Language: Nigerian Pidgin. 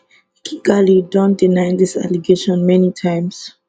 kigali don deny dis allegation many times